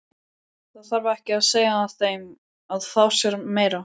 Það þarf ekki að segja þeim að fá sér meira.